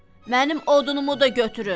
Mənim odunumu da götürün.